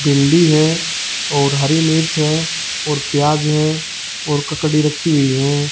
भिंडी है और हरी मिर्च है और प्याज है और ककड़ी रखी हुई हैं।